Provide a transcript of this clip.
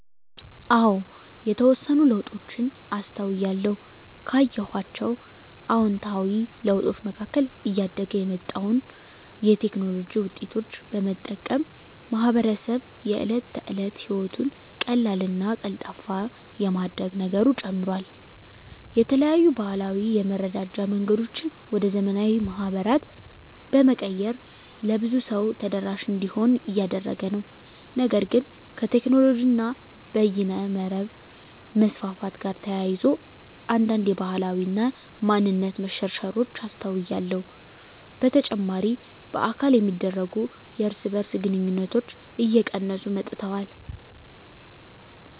አዎ የተወሰኑ ለውጦችን አስተውያለሁ። ካየኋቸው አዉንታዊ ለውጦች መካከል እያደገ የመጣውን የቴክኖሎጂ ዉጤቶች በመጠቀም ማህበረሰቡ የእለት ተለት ህይወቱን ቀላልና ቀልጣፋ የማድረግ ነገሩ ጨምሯል። የተለያዩ ባህላዊ የመረዳጃ መንገዶችን ወደ ዘመናዊ ማህበራት በመቀየር ለብዙ ሰው ተደራሽ እንዲሆኑ እያደረገ ነው። ነገር ግን ከቴክኖሎጂ እና በይነመረብ መስፋፋት ጋር ተያይዞ አንዳንድ የባህል እና ማንነት መሸርሸሮች አስተውያለሁ። በተጨማሪ በአካል የሚደረጉ የእርስ በእርስ ግንኙነቶች እየቀነሱ መጥተዋል።